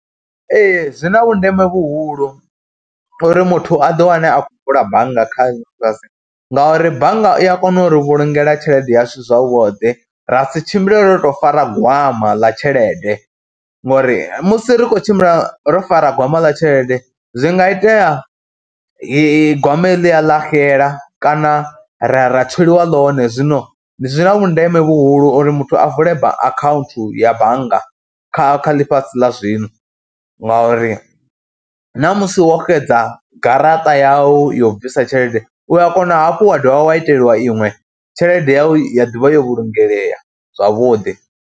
Ee zwi na vhundeme vhuhulu uri muthu a ḓiwane a khou vula bannga kha ngauri bannga i ya kona uri vhulungela tshelede yashu zwavhuḓi, ra si tshimbile ro tou fara gwama ḽa tshelede ngori musi ri khou tshimbila ro fara gwama ḽa tshelede zwi nga itea gwama heḽia ḽa xela kana ra ya ra tsweliwa ḽone. Zwino ndi zwi na vhundeme vhuhulu uri muthu a vule akhaunthu ya bannga kha ḽifhasi ḽa zwino ngauri namusi wo xedza garaṱa yau yo u bvisa tshelede u ya kona hafhu wa dovha wa iteliwa iṅwe tshelede yau ya ḓi vha yo vhulungea zwavhuḓi.